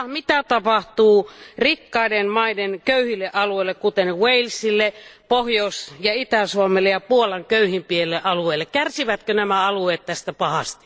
Ja mitä tapahtuu rikkaiden maiden köyhille alueille, kuten Walesille, Pohjois ja Itä Suomelle sekä Puolan köyhimmille alueille? Kärsivätkö nämä alueet tästä pahasti?